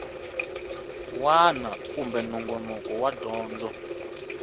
wana kumbe nongonoko wa dyondzo